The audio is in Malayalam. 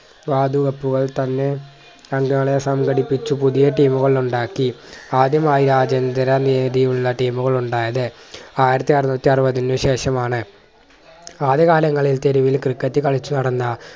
വാതുവെപ്പുകൾ തന്നെ പങ്കാളിയെ സംഘടിപ്പിച്ചു പുതിയ team കൾ ഉണ്ടാക്കി ആദ്യമായി ആ team കൾ ഉണ്ടായത് ആയിരത്തി അറുന്നൂറ്റി അറുപത്തിനു ശേഷമാണ്. ആദ്യ കാലങ്ങളിൽ തെരുവിൽ ക്രിക്കറ്റ് കളിച്ചു നടന്ന